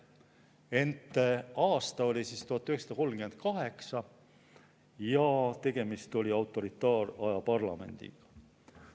Ent aasta oli siis 1938 ja tegemist oli autoritaaraja parlamendiga.